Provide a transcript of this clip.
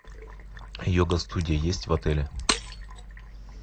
йога студия есть в отеле